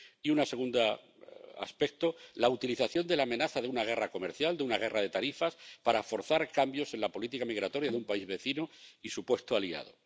Y un segundo aspecto la utilización de la amenaza de una guerra comercial, de una guerra de tarifas, para forzar cambios en la política migratoria de un país vecino y supuesto aliado.